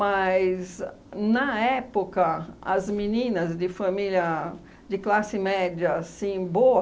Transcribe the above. na época, as meninas de família de classe média assim, boa,